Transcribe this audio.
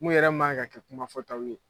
Mun yɛrɛ man kan ka kɛ kuma fɔtaw ye.